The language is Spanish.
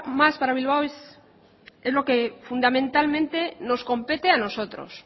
más para bilbao es lo que fundamentalmente nos compete a nosotros